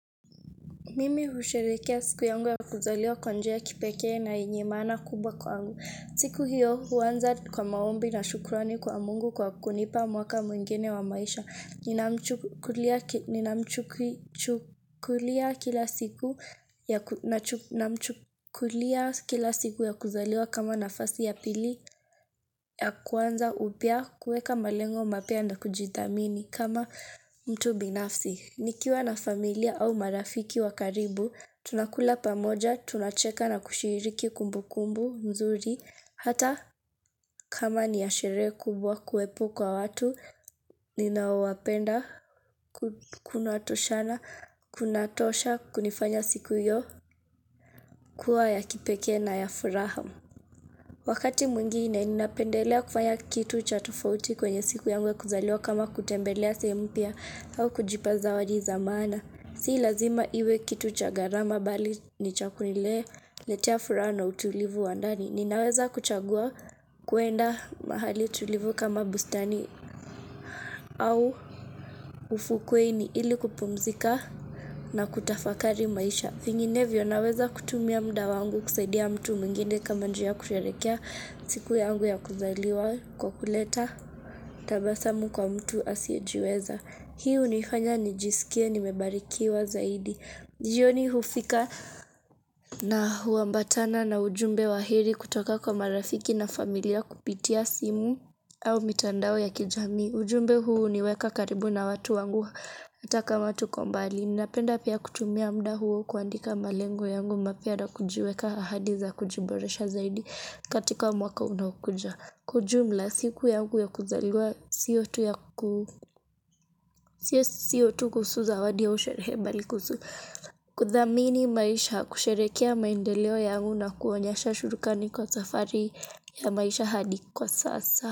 Mimi husherehekea siku yangu ya kuzaliwa kwa njia ya kipekee na yenye maana kubwa kwangu. Siku hiyo huanza kwa maombi na shukrani kwa mungu kwa kunipa mwaka mwengine wa maisha. Ninamchukulia kila siku ya kuzaliwa kama nafasi ya pili ya kuanza upya kueka malengo mapya na kujithamini kama mtu binafsi. Nikiwa na familia au marafiki wa karibu, tunakula pamoja, tunacheka na kushiriki kumbukumbu mzuri, hata kama ni ya sherehe kubwa kuwepo kwa watu, ninaoapenda, kuna toshana, kunatosha, kunifanya siku hiyo, kuwa ya kipekee na ya furaha. Wakati mwingine ninapendelea kufanya kitu cha tufauti kwenye siku yangu ya kuzaliwa kama kutembelea sehemu mpya au kujipa zawadi za maana. Si lazima iwe kitu cha gharama bali ni cha kuniletea furaha na utulivu wa ndani. Ninaweza kuchagua kuenda mahali tulivu kama bustani au ufukweni ili kupumzika na kutafakari maisha. Vinginevyo naweza kutumia mda wangu kusaidia mtu mwingine kama njia ya kusherehekea siku yangu ya kuzaliwa kwa kuleta tabasamu kwa mtu asiyejiweza. Hii hunifanya nijisikie nimebarikiwa zaidi. Jioni hufika na huambatana na ujumbe wa heri kutoka kwa marafiki na familia kupitia simu au mitandao ya kijami. Ujumbe huu huniweka karibu na watu wangu ata kama tuko mbali. Ninapenda pia kutumia mda huo kuandika malengo yangu mapya na kujiweka ahadi za kujiboresha zaidi katika mwaka unaokuja. Si lazima iwe kitu cha gharama bali ni cha kuniletea furaha no utulivu wa ndani. Ninaweza kuchagua kuenda mahali tulivu kama bustani au ufukweni ili kupumzika na kutafakari maisha. Vingine vio naweza kutumia mda wangu kusaidia mtu mungine kama njia kuriarekea siku ya angu ya kuzaliwa kwa kuleta tabasamu kwa mtu asiejiweza.